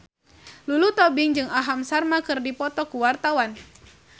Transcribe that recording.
Lulu Tobing jeung Aham Sharma keur dipoto ku wartawan